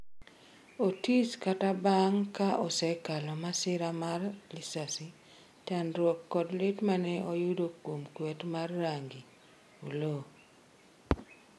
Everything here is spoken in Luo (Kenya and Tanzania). Otis kata bang' ka osekalo masira mar lisasi, chandruok kod lit mane oyudo kuom kwet mar rangi ,'Oloo